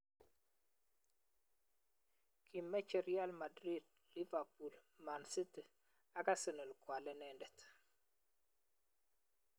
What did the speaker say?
Kimeche Real Madrid, Liverpool, Manchester City ak Arsenal koal inendet